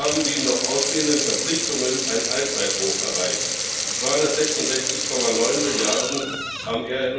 So haben die noch ausstehenden Verpflichtungen ein Allzeithoch erreicht 266,9 Milliarden am